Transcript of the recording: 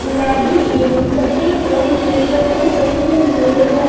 गुलाबी एवं सफेद रंग के पर्दे चढ़े हुए हैं।